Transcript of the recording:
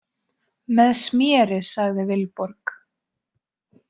Með sméri, sagði Vilborg.